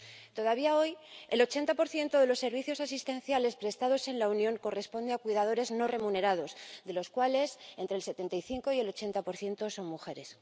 Todavía hoy, el 80 de los servicios asistenciales prestados en la Unión corresponde a cuidadores no remunerados, de los cuales entre el 75 y el 80 son mujeres.